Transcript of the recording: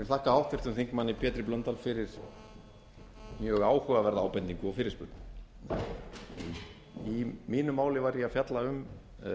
þakka háttvirtum þingmanni pétri blöndal fyrir mjög áhugaverða ábendingu og fyrirspurn í mínu máli var ég að fjalla um